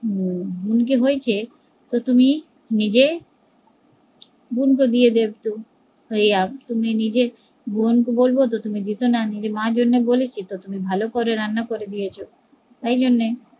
বোন কে বলছে তো তুমি নিজে বোন , তুমি নিজে বোন কে বললে তুমি দিতে না নিজের মা জন্য বলেছি তো তুমি ভালো করে রান্না করে দিয়েছ তাই জন্যে